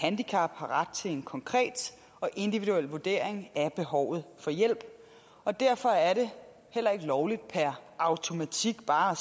handicap har ret til en konkret og individuel vurdering af behovet for hjælp og derfor er det heller ikke lovligt per automatik bare